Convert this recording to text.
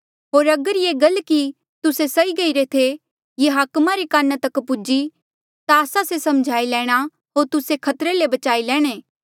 होर अगर ये गल कि तुस्से सई गईरे थे ये हाकमा रे काना तक पुज्ही ता आस्सा से समझाई लैणा होर तुस्से खतरे ले बचाई लैणे